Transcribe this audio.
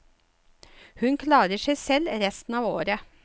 Hun klarer seg selv resten av året.